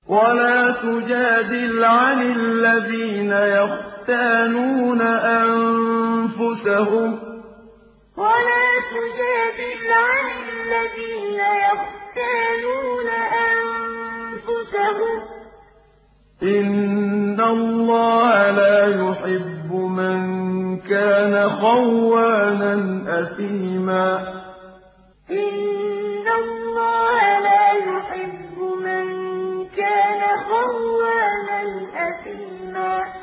وَلَا تُجَادِلْ عَنِ الَّذِينَ يَخْتَانُونَ أَنفُسَهُمْ ۚ إِنَّ اللَّهَ لَا يُحِبُّ مَن كَانَ خَوَّانًا أَثِيمًا وَلَا تُجَادِلْ عَنِ الَّذِينَ يَخْتَانُونَ أَنفُسَهُمْ ۚ إِنَّ اللَّهَ لَا يُحِبُّ مَن كَانَ خَوَّانًا أَثِيمًا